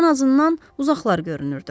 Ən azından uzaqlar görünürdü.